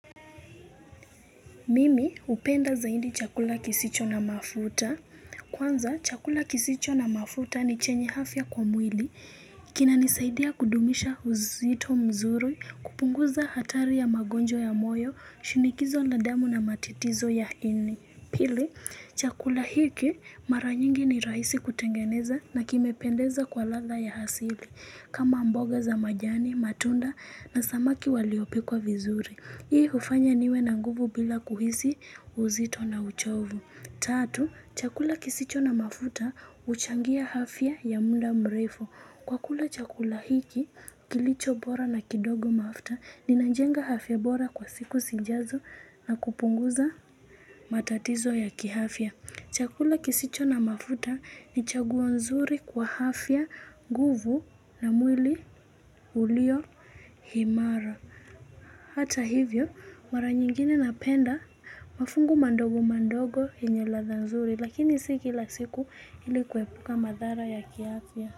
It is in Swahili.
Mimi upenda za hindi chakula kisicho na mafuta. Kwanza, chakula kisicho na mafuta ni chenye hafya kwa mwili. Kina nisaidia kudumisha uzito mzuri, kupunguza hatari ya magonjwa ya moyo, shinikizo la damu na matitizo ya ini. Pili, chakula hiki maranyingi ni raisi kutengeneza na kime pendeza kwa latha ya hasili. Kama mboga za majani, matunda na samaki waliopikwa vizuri. Hii ufanya niwe na nguvu bila kuhisi uzito na uchovu. Tatu, chakula kisicho na mafuta uchangia hafya ya muda mrefu. Kwa kula chakula hiki, kilicho bora na kidogo mafuta, ninajenga hafya bora kwa siku sijazo na kupunguza matatizo ya kihafya. Chakula kisicho na mafuta ni chaguwo nzuri kwa hafya, nguvu na mwili ulio himara. Hata hivyo, mara nyingine napenda mafungu mandogo mandogo yenye ladha nzuri lakini sikila siku ilikuwepuka madhara ya kiafya.